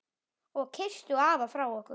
Og kysstu afa frá okkur.